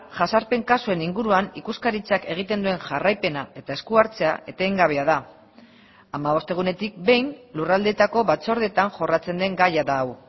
jazarpen kasuen inguruan ikuskaritzak egiten duen jarraipena eta esku hartzea etengabea da hamabost egunetik behin lurraldeetako batzordeetan jorratzen den gaia da hau